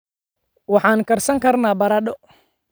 Waxaan karsan karnaa baradho.